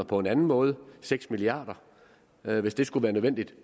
på en anden måde seks milliard kr hvis det skulle være nødvendigt